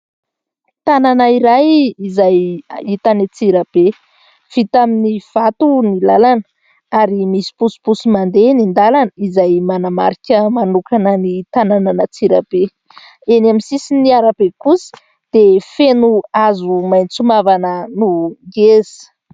Tanàna iray izay hita any Antsirabe, vita amin'ny vato ny làlana ary misy posiposy mandeha eny an-dàlana izay manamarika manokana ny tanànan' Antsirabe, eny amin'ny sisin'ny arabe kosa dia feno hazo maintso mavana no ngeza.